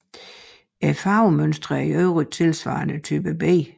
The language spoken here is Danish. Farvemønstrene er i øvrigt tilsvarende Type B